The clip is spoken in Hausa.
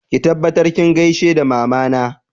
Ki tabbatar kin gaishe da Mamana!